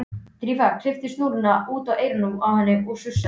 Drífa kippti snúrunni út úr eyranu á henni og sussaði.